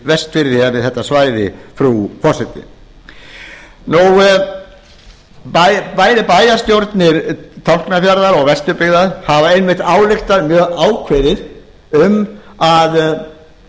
vestfirði eða við þetta svæði frú forseti bæði bæjarstjórnir tálknafjarðar og vesturbyggðar hafa einmitt ályktað mjög ákveðið um að